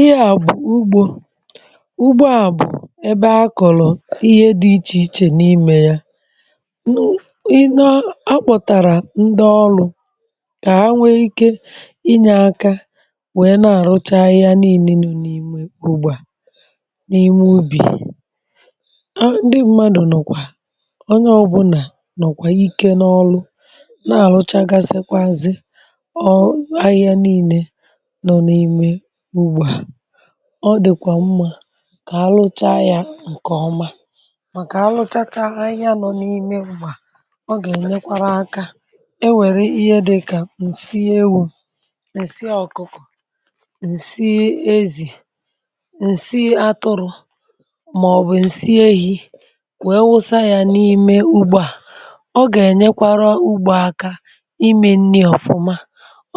Ịhè à bụ̀ Ụgbọ̀... Ụgbọ̀ à bụ̀ ebe a kọ̀lọ̀ ihe dị iche iche n’ime ya um N’u ihe a kpọ̀tàrà, ndị ọrụ̀ ka ha nwee ike inyè aka wèe na-àrụcha ahịhịa niile n’ime ugbò. N’ime ubì, ndị mmanụ̀ nọ, onye ọbụla nọkwa ike n’ọlụ̀, um na-àrụcha, ga-asekwa, ọ̀ ahịhịa niile. Ọ dịkwa mma ka a lụcha ya nke ọma, maka na mgbe a lụchachara ahịhịa nọ n’ime ugbò, ọ gà-ènyekwa aka. E nwekwara ihe dị ka ǹsị ewu̇, ǹsị ọ̀kụkọ̀, ǹsị ezì, ǹsị atụrụ̇, maọbụ̀ ǹsị ehi̇ kwèe wụsa ya n’ime ugbò. Ọ gà-ènyekwa ugbò aka ime nri ọ̀fụma,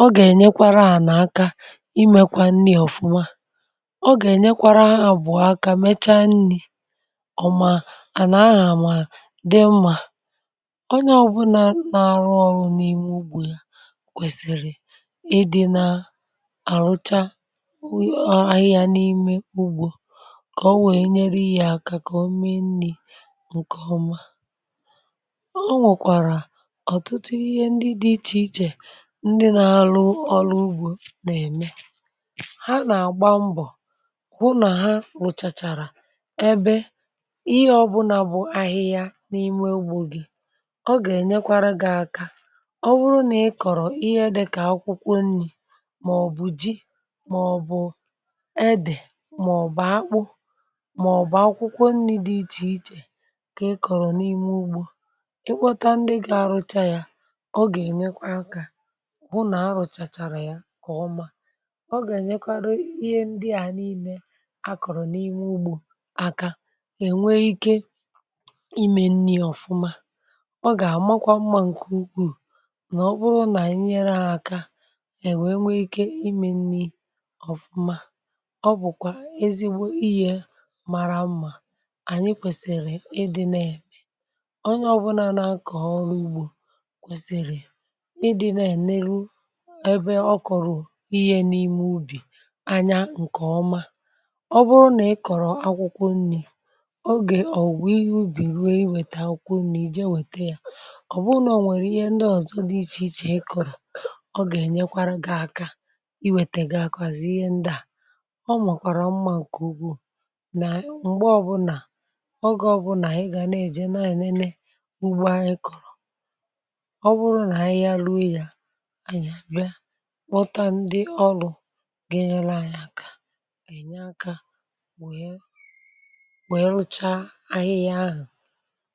ọ gà-ènyekwa à nà aka, ọ gà-ènyekwa abụọ aka, mee ka nri ọma dị mma, à nà aha mara mma. Onye ọbụla na-arụ ọrụ n’ime ugbò ya um kwesịrị ịdị n’ọrụ, na-àrụcha ahịhịa n’ime ugbò ka o wèe nyere ihe aka, mee nri nke ọma. Ọ nụ̀kwara, e nwere ọtụtụ ihe dị iche iche ndị na-arụ ọrụ ugbò na-eme, hụ nà ha rụchachara ebe niile. Ihe ọbụla bụ ahịhịa n’ime ugbò gị, ọ gà-ènyekwa gị aka. Ọ bụrụ nà ị kọ̀rọ̀ ihe dị ka akwụkwọ nri, maọbụ̀ ji, maọbụ̀ edè, maọbụ̀ akpụ, maọbụ̀ akwụkwọ nri dị iche iche,.. ka ị kọ̀rọ̀ n’ime ugbò ikpọ̀ta ndị ga-arụcha ya, ọ gà-ènyekwa aka hụ na a rụchachara ya nke ọma. Ihe akọ̀rọ̀ n’ime ugbò aka e nwe ike ime nri ọ̀fụma, ọ gà-amakwa mma, um n’ihi na ọ kpụrụ n’ịnyere aka, e nwe ike ime nri ọma. Ọ bụkwa ezigbo ihe mara mma. Anyị kwesịrị ịdị na-eme onye ọbụla nà-akọ̀ ọrụ ugbò kwesịrị ịdị na-eneru ebe ọ kọ̀rọ̀ ihe n’ime ubì. Ọ bụrụ nà ị kọ̀rọ̀ akwụkwọ nri, oge ògwù ihe ubì ruo, ị wète akwụkwọ nri ije wète ya. Ọ bụrụkwa nà o nwere ihe ndị ọzọ dị iche iche ị kọ̀rọ̀, ọ gà-ènyekwa gị aka. um Ị wète gị akwa, zị ihe ndị ahụ. Ọ makwara mma n’ihi na ugbò, mgbe ọ bụrị nà anyị ga na-eje, na-enene ugbò anyị kọ̀rọ̀ ọ bụrụ nà ahịhịa lụọ ya, pughie, rụchaa ahịhịa ahụ̀.